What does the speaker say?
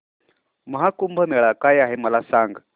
महा कुंभ मेळा काय आहे मला सांग